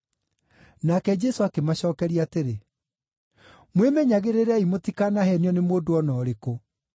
Nake Jesũ akĩmacookeria atĩrĩ, “Mwĩmenyagĩrĩrei mũtikanaheenio nĩ mũndũ o na ũrĩkũ.